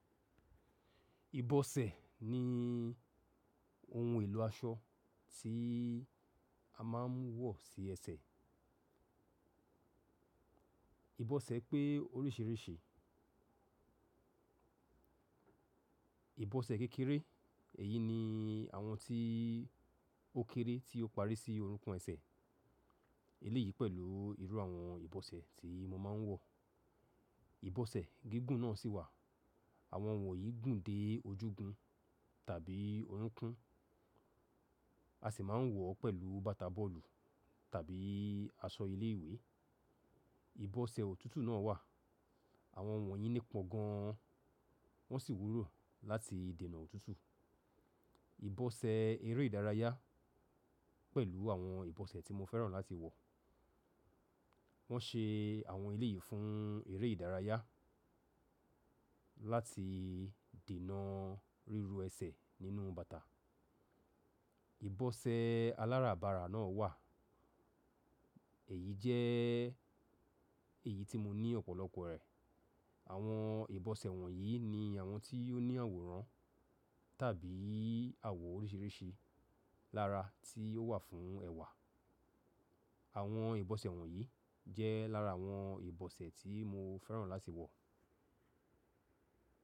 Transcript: Ìbọ̀sẹ̀ ni ohun èlò aṣọ tí a má ń wọ̀ sí ẹsẹ̀. Ìbọ̀sẹ̀ pé oríṣìríṣìí. Ìbọ̀sẹ̀ kékeré, èyí ni àwọn tí ó kéré tí ó parí sí orúnkún ẹsẹ̀. Eléyìí pẹ̀lú irú àwọn ìbọ̀sẹ̀ tí mo ma ń wọ̀. Ìbọ̀sẹ̀ gígùn náà sì wà. Àwọn wọ̀nyí gùn dé ojúgun tàbí orúnkún. A sì má ń wọ̀ ọ́ pẹ̀lú bàtà bọ́ọ̀lù tàbí aṣọ ilé ìwé. Ìbọ̀sẹ̀ òtútù náà wà. Àwọn wọ̀nyí nípọn gan an. Wọ́n sì wúló láti dènà òtútù. Ìbọ̀sẹ̀ eré ìdárayá pẹ̀lú àwọn ìbọ̀sẹ̀ tí mo fẹ́ràn láti wọ̀. Wọ́n se àwọn eléyìí fún eré ìdárayá láti dènà ríru ẹsẹ̀ nínú bàtà. Ìbọ̀sẹ̀ aláràbarà náà wà. Èyí jẹ́ èyí tí mo ní ọ̀pọ̀lọpọ̀ rẹ̀. Àwọn ìbọ̀sẹ̀ wọ̀nyí ni àwọn tí ó ní àwòrán tàbí àwọ̀ oríṣìíríṣìí lára tí ó wà fún ẹwà. Àwọn ìbọ̀sẹ̀ wọ̀nyí jẹ́ lára àwọn ìbọ̀sẹ̀ tí mo fẹ́ràn láti wọ̀.